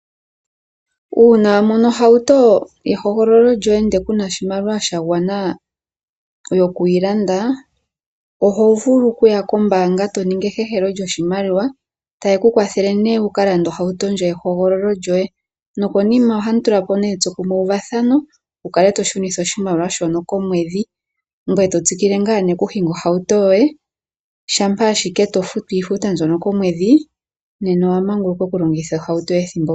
Uuna wamono ohauto yehogololo lyoye ndele kuna oshimaliwa sha gwana okuyi landa, oto vulu okuya kombanga eto ningi ehehelo lyoshimaliwa, ta yeku kwathele ne wuka lande ohauto yehogololo lyoye, nokonima ohamu tulapo ne etso kumwe wuvathano, wu kake to shunitha oshimaliwa shoka komwedhi, ngwe to tsikile nga ne oku shinga ohauto yoye, shampa ashike to futu iifuta mbyoka komwedhi nena owa manguluka oku longitha ohauto ethimbo kehe.